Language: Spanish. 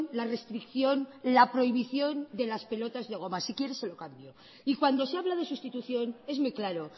la restricción la prohibición de las pelotas de goma si quiere se lo cambio y cuando se habla de sustitución es muy claro